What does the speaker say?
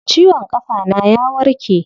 Ciwon kafa na ya warke.